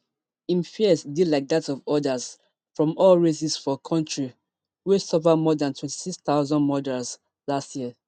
im fears dey like dat of odas from all races for kontri wey suffer more dan twenty-six thousand murders last year